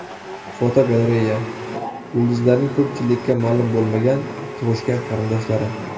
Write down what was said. Fotogalereya: Yulduzlarning ko‘pchilikka ma’lum bo‘lmagan tug‘ishgan qarindoshlari.